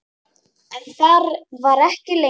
En þar var ekki lengi.